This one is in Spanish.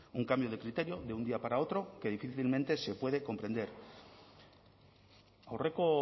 un cambio de criterio de un día para otro que difícilmente se puede comprender aurreko